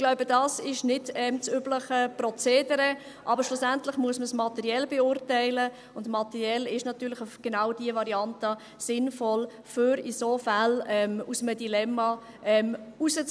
Ich glaube, dies ist nicht das übliche Prozedere, aber schlussendlich muss man es materiell beurteilen, und materiell ist natürlich genau diese Variante sinnvoll, um in solchen Fällen aus einem Dilemma herauszukommen.